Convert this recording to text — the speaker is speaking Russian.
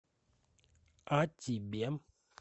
а тебе